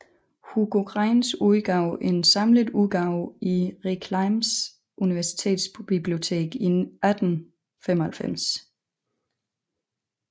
Hugo Greinz udgav en samlet udgave i Reclams universitetsbibliotek 1895